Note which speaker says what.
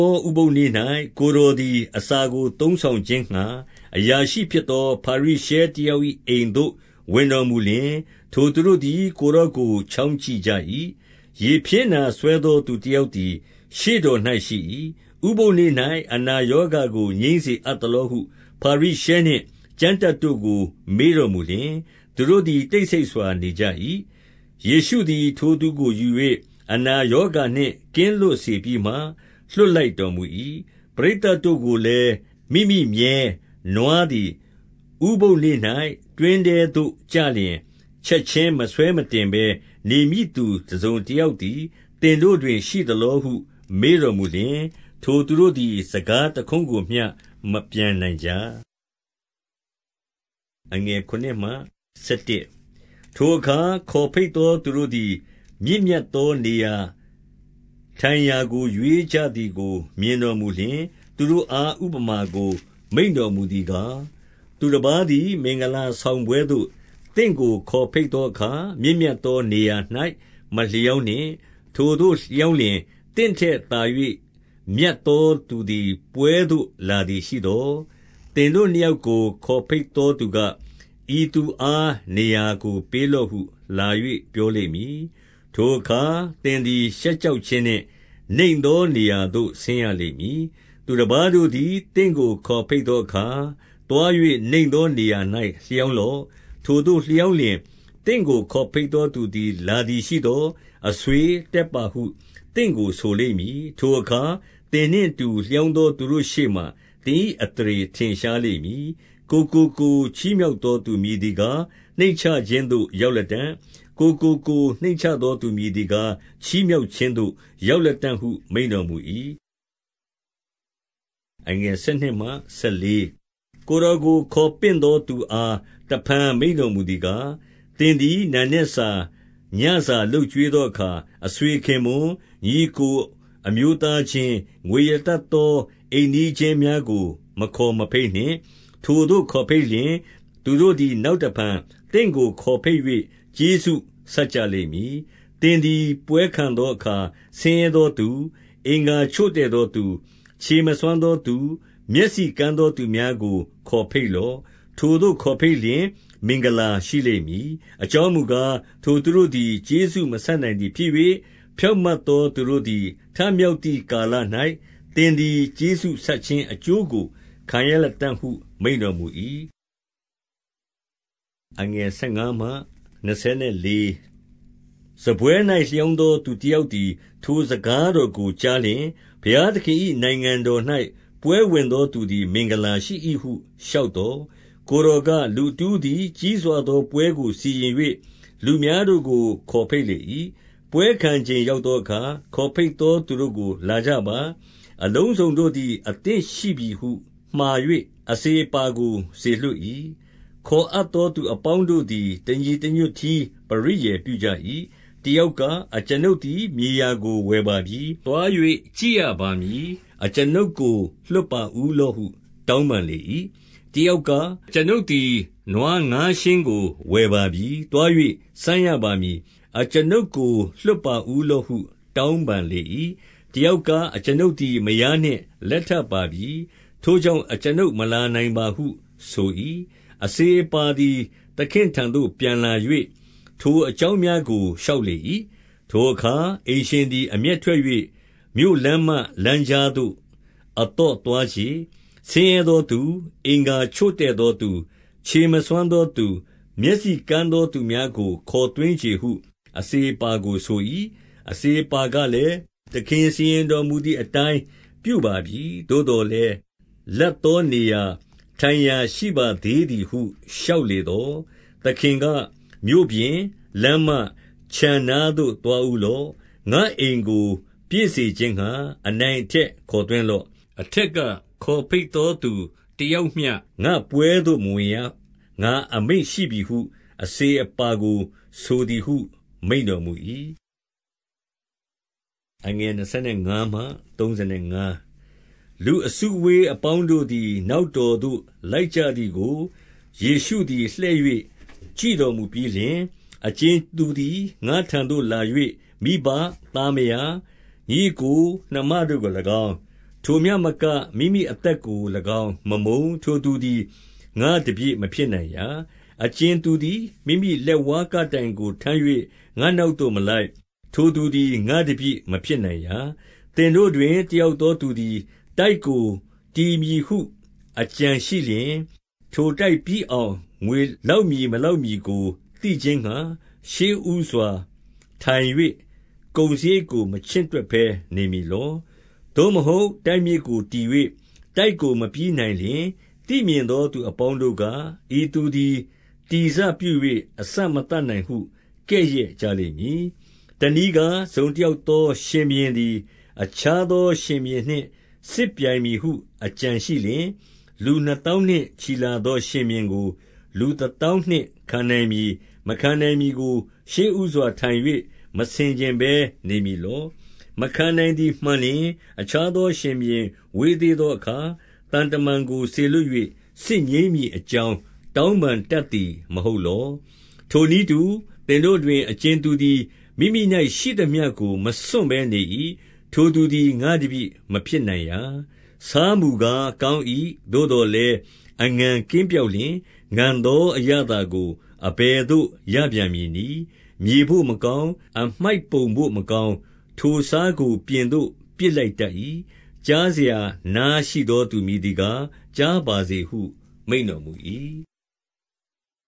Speaker 1: ောဥပုသ်နေ့၌ ကိုယ်တော်သည် အစာကိုသုံးဆောင်ခြင်းငှါ အရာရှိဖြစ်သော ဖာရိရှဲ တ ယောက် ၏အိမ်သို့ဝင်တော်မူလျှင်၊ ထိုသူတို့သည် ကိုယ်တော်ကို ချောင်းကြည့်ကြ၏။ 2 ရေဖျဉ်းနာစွဲသော သူတယောက်သည် ရှေ့တော်၌ရှိ၏။ 3 ဥပုသ်နေ့၌ အနာရောဂါကို ငြိမ်းစေအပ်သလောဟု ဖာရိရှဲနှင့် ကျမ်းတတ်တို့ကို မေးတော်မူစေပြီးမှ၊ 4 သူတို့သည် တိတ်ဆိတ်စွာနေကြ၏။ ယေရှုသည် ထိုသူကိုယူ၍ အနာရောဂါနှင့် ကင်းလွတ်စေပြီးမှ၊ လွှတ်လိုက်တော်မူ၏။ 5 ပရိသတ်တို့ကိုလည်း၊ မိမိမြည်း၊ နွားသည် ဥပုသ်နေ့၌တွင်းထဲသို့ကျလျှင် ချက်ခြင်းမဆွဲမတင်ဘဲ နေ မည့်သူတစုံတယောက်သည် သင်တို့တွင်ရှိသလောဟု မေးတော်မူလျှင်၊ 6 ထိုသူတို့သည် စကားတခွန်းကိုမျှ မပြန်နိုင်ကြ။ 7 ထိုအခါ ခေါ်ဘိတ်သောသူတို့သည် မြင့်မြတ်သောနေရာထိုင်ရာကို ရွေးကြသည်ကို မြင်တော်မူလျှင်၊ သူတို့အား ဥပမာကို မိန့်တော်မူသည်ကား၊ 8 သူတပါးသည် မင်္ဂလာဆောင်ပွဲသို့ သင့်ကိုခေါ်ဘိတ်သောအခါ၊ မြင့်မြတ်သောနေရာ၌ မလျောင်းနှင့်။ ထိုသို့ လျောင်းလျှင် သင့်ထက်သာ၍ မြတ်သောသူသည် ပွဲသို့လာသည်ရှိသော်၊ 9 သင်တို့နှစ်ယောက်ကို ခေါ်ဘိတ်သောသူက၊ ဤသူအား နေရာကိုပေးလော့ဟုလာ၍ ပြောလိမ့်မည်။ ထိုအခါ သင်သည် ရှက်ကြောက်ခြင်းနှင့် နိမ့်သောနေရာသို့ ဆင်းရလိမ့်မည်။ 10 သူတပါးတို့သည် သင့်ကို ခေါ်ဘိတ်သောအခါ၊ သွား၍နိမ့်သောနေရာ၌ လျောင်းလော့။ ထိုသို့လျောင်း လျှင် သင့်ကိုခေါ်ဘိတ်သောသူ လာသည်ရှိသော်၊ အဆွေ၊ တက်ပါဟုသင့်ကိုဆိုလိမ့်မည်။ ထိုအခါ သင်နှင့် အတူ လျောင်းသောသူတို့ရှေ့မှာ သင်၏အသရေထင်ရှားလိမ့်မည်။ 11 ကိုယ်ကိုကိုယ် ချီးမြှောက်သောသူ မည်သည်ကား နှိမ့်ချခြင်းသို့ရောက်လတံ့။ ကိုယ်ကိုကိုယ်နှိမ့်ချသော သူမည်သည်ကား ချီးမြှောက်ခြင်းသို့ ရောက်လတံ့ဟု မိန့်တော်မူ၏။ 12 ကိုယ်တော်ကို ခေါ်ပင့်သောသူအား တဖန်မိန့်တော်မူသည်ကား၊ သင်သည် နံနက်စာ၊ ညစာလုပ် ကျွေးသောအခါ၊ အဆွေခင်ပွန်း၊ ညီအစ်ကိုအမျိုးသားချင်း၊ ငွေရတတ်သော အိမ်နီးချင်းများကို မခေါ်မဘိတ် နှင့်။ ထိုသို့ ခေါ်ဘိတ်လျှင်၊ သူတို့သည် နောက်တဖန် သင့်ကိုခေါ်ဘိတ်၍ ကျေးဇူးဆပ်ကြလိမ့်မည်။ 13 သင်သည် ပွဲခံသောအခါ ဆင်းရဲသောသူ၊ အင်္ဂါ ချို့တဲ့သောသူ၊ ခြေမစွမ်းသောသူ၊ မျက်စိကန်းသော သူများကို ခေါ်ဘိတ်လော့။ 14 ထိုသို့ခေါ်ဘိတ်လျှင် မင်္ဂလာရှိလိမ့်မည်။ အကြောင်းမူကား၊ ထိုသူတို့သည် ကျေးဇူးမဆပ်နိုင်သည် ဖြစ်၍၊ ဖြောင့်မတ်သောသူတို့သည် ထမြောက်သည် ကာလ၌ သင်သည် ကျေးဇူးဆပ်ခြင်းအကျိုးကို ခံရလတံ့ ဟု မိန့်တော်မူ၏။ 15 စားပွဲ၌ လျောင်းသော သူတယောက်သည် ထိုစကားတော်ကို ကြားလျှင်၊ ဘုရားသခင်၏နိုင်ငံတော်၌ ပွဲဝင်သောသူသည် မင်္ဂလာရှိ၏ဟု လျှောက်သော်၊ 16 ကိုယ်တော်က၊ လူတဦးသည် ကြီးစွာသောပွဲကို စီရင်၍၊ လူများတို့ကို ခေါ်ဘိတ်လေ၏။ 17 ပွဲခံချိန်ရောက်သောအခါ၊ ခေါ်ဘိတ်သောသူတို့ကို၊ လာကြပါ။ အလုံးစုံတို့သည် အသင့်ရှိပြီဟု မှာ၍ အစေအပါးကို စေလွှတ်၏။ 18 ခေါ်အပ်သော သူအပေါင်းတို့သည် တညီတညွတ်တည်းပရိယာယ်ပြုကြ၏။ တယောက်က၊ အကျွန်ုပ် သည် မြေရာကို ဝယ်ပါပြီ။ သွား၍ ကြည့်ရပါမည်။ အကျွန်ုပ်ကို လွှတ်ပါဦးလော့ဟု တောင်းပန်လေ၏။ 19 တယောက်က အကျွန်ုပ်သည် နွားငါးယဉ်ကို ဝယ်ပါပြီ။ သွား၍ စမ်းရပါမည်။ အကျွန်ုပ်ကို လွှတ်ပါဦး လော့ဟု တောင်းပန်လေ၏။ 20 တယောက်က၊ အကျွန်ုပ်သည် မယားနှင့် လက်ထပ်ပါပြီ။ ထိုကြောင့် အကျွန်ုပ်မလာနိုင်ပါဟုဆို၏။ 21 အစေအပါးသည် သခင့်ထံသို့ပြန်လာ၍ ထိုအကြောင်းများကိုလျှောက်လေ၏။ ထိုအခါ အိမ်ရှင် သည် အမျက်ထွက်၍၊ မြို့လမ်းမလမ်းကြားသို့ အသော့သွားချေ။ ဆင်းရဲသောသူ၊ အင်္ဂါချို့တဲ့သောသူ၊ ခြေ မစွမ်းသောသူ၊ မျက်စိကန်းသောသူများကို ခေါ်သွင်းချေဟု အစေအပါးကို ဆို၏။ 22 အစေအပါးကလည်း၊ သခင်စီရင်တော်မူသည်အတိုင်းပြုပါပြီ။ သို့သော်လည်း လပ်သောနေရာထိုင်ရာ ရှိပါသေးသည်ဟု လျှောက်လေသော်၊ 23 သခင်က၊ မြို့ပြင်၊ လမ်းမ၊ ခြံနားသို့ သွားဦးလော့။ ငါ့အိမ်ကို ပြည့်စေခြင်းငှါ အနိုင်အထက် ခေါ်သွင်း လော့။ 24 အထက်က ခေါ်ဘိတ်သောသူတယောက်မျှ ငါ့ပွဲသို့ မဝင်ရ၊ ငါအမိန့်ရှိပြီဟု အစေအပါးကို ဆိုသည်ဟု မိန့်တော်မူ၏။ 25 လူအစုအဝေးအပေါင်းတို့သည် နောက်တော်သို့လိုက်ကြသည်ကို ယေရှုသည်လှည့်၍ ကြည့်တော်မူပြီး လျှင်၊ 26 အကြင်သူသည် ငါ့ထံသို့လာ၍ မိဘ၊ သား မယား၊ ညီအစ်ကို၊ နှမတို့ကို၎င်း၊ ထိုမျှမက မိမိအသက်ကို ၎င်း မမုန်း၊ ထိုသူသည် ငါ့တပည့်မဖြစ်နိုင်ရာ။ 27 အကြင်သူသည် မိမိလက်ဝါးကပ်တိုင်ကိုထမ်း၍ ငါ့နောက်သို့မလိုက်၊ ထိုသူသည် ငါ့တပည့် မဖြစ် နိုင်ရာ။ 28 သင်တို့တွင် တယောက်သောသူသည် တိုက်ကို တည်မည်ဟု အကြံရှိလျှင်၊ ထိုတိုက်ပြီးအောင် ငွေ လောက်မည် မလောက်မည်ကို သိခြင်းငှါ၊ ရှေ့ဦးစွာ ထိုင်၍ ကုန်စရိတ်ကို မချင့်တွက်ဘဲနေမည်လော။ 29 သို့မဟုတ် တိုက်မြစ်ကိုတည်၍ တိုက်ကို မပြီးနိုင်လျှင်၊ သိမြင်သောသူအပေါင်းတို့က၊ 30 ဤသူသည် တည်စပြု၍ အစမသတ်နိုင်ဟု ကဲ့ရဲ့ကြလိမ့်မည်။ 31 တနည်းကား၊ တစုံတယောက်သော ရှင်ဘုရင်သည် အခြားသောရှင်ဘုရင်နှင့် စစ်ပြိုင်မည်ဟု အကြံ ရှိလျှင်၊ လူနှစ်သောင်းနှင့် ချီလာသော ရှင်ဘုရင်ကို လူတသောင်းနှင့် ခံနိုင်မည် မခံနိုင်မည်ကို ရှေ့ဦးစွာထိုင်၍ မဆင်ခြင်ဘဲ နေမည်လော။ 32 မခံနိုင်သည် မှန်လျှင်၊ အခြားသော ရှင်ဘုရင်ဝေးသေးသောအခါ သံတမန်ကို စေလွှတ်၍ စစ်ငြိမ်းမည် အကြောင်း တောင်းပန်တတ်သည်မဟုတ်လော။ 33 ထိုနည်းတူ၊ သင်တို့တွင် အကြင်သူသည် မိမိ၌ရှိသမျှကို မစွန့်ဘဲနေ၏။ ထိုသူသည် ငါ့တပည့်မဖြစ်နိုင် ရာ။ 34 ဆားမူကား ကောင်း၏။ သို့သော်လည်း အငန်ကင်းပျောက်လျှင် ငန်သောအရသာကို အဘယ်သို့ ရ ပြန်မည်နည်း။ 35 မြေဘို့မကောင်း၊ အမှိုက်ပုံဘို့ မကောင်း၊ ထိုဆားကို ပြင်သို့ပစ်လိုက်တတ်၏။ ကြားစရာနားရှိသော သူမည်သည်ကား ကြားပါစေဟု မိန့်တော်မူ၏။